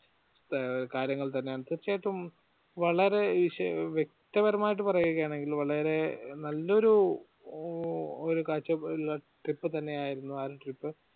കാര്യങ്ങൾ തന്നെയാണ് തീർച്ചയായിട്ടും വളരെ ഈ ശേ വ്യക്തപരമായിട്ട് പറയുകയാണെങ്കിൽ വളരെ നല്ലൊരു ഉം ഒരു കാഴ്ച ഉള്ള trip തന്നെ ആയിരുന്നു ആ trip